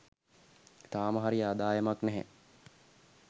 තාම හරි ආදායමක් නැහැ